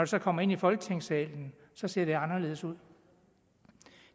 så kommer ind i folketingssalen ser det anderledes ud